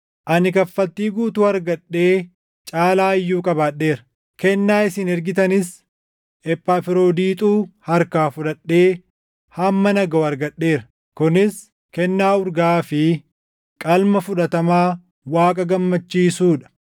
Ani kaffaltii guutuu argadhee caalaa iyyuu qabaadheera; kennaa isin ergitanis Ephafroodiixuu harkaa fudhadhee hamma na gaʼu argadheera. Kunis kennaa urgaaʼaa fi qalma fudhatamaa Waaqa gammachiisuu dha.